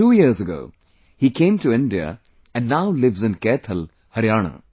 Two years ago, he came to India and now lives in Kaithal, Haryana